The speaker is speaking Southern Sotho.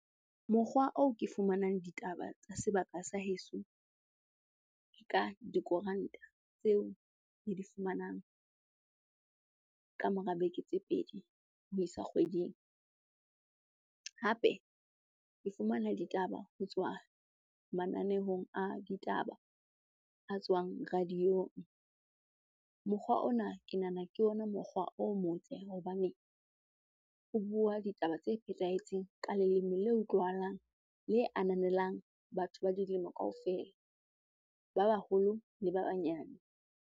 Mokgwa oo ke fumanang ditaba tsa sebaka sa heso, ke ka dikoranta tseo re di fumanang ka mora beke tse pedi ho isa kgweding. Hape ke fumana ditaba ho tswa mananehong a ditaba a tswang radio-ong. Mokgwa ona ke nahana ke ona mokgwa o motle hobane o bua ditaba tse phethahetseng ka leleme le utlwahalang, le ananelang batho ba dilemo kaofela, ba baholo le ba banyane.